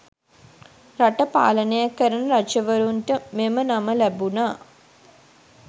රට පාලනය කරන රජවරුන්ට මෙම නම ලැබුණා.